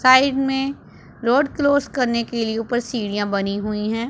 Side में road cross करने के लिए ऊपर सीढ़ियां बनी हुई हैं।